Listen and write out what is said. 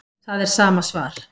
Það er sama svar